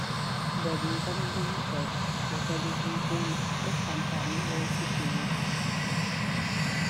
Da rigar dubu ɗari, da ta dubu goma duk amfani ɗaya suke yi.